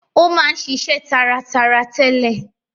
Ó máa ń ṣiṣe taratara tẹ́lẹ̀.